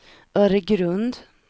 Öregrund